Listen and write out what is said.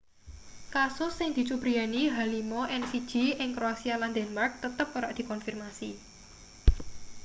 kasus sing dicubriyani h5n1 ing kroasia lan denmark tetep ora dikonfirmasi